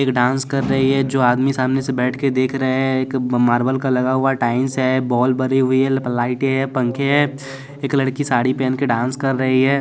एक डांस कर रही है जो आदमी सामने से बैठ के देख रहे हैं एक मार्बल का लगा हुआ टाइंस है बॉल भरी हुई है लाइटे है पंखे है एक लड़की साड़ी पहन के डांस कर रही है।